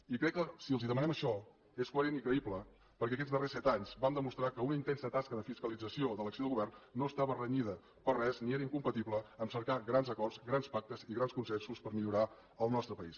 i crec que si els demanem això és coherent i creïble perquè aquests darrers set anys vam demostrar que una intensa tasca de fiscalització de l’acció de govern no estava renyida per res ni era incompatible amb cercar grans acords grans pactes i grans consensos per millorar el nostre país